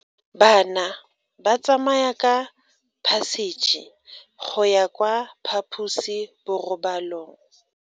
Bana ba tsamaya ka phašitshe go ya kwa phaposiborobalong.